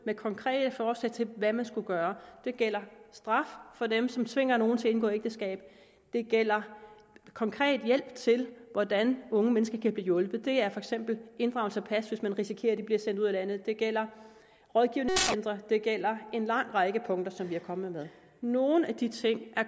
med konkrete forslag til hvad man skulle gøre det gælder straf for dem som tvinger nogen til at indgå ægteskab det gælder konkret hjælp til hvordan unge mennesker kan blive hjulpet det er for eksempel inddragelse af pas hvis man risikerer at de bliver sendt ud af landet og det gælder rådgivningscentre det gælder en lang række punkter som vi er kommet med nogle af de ting er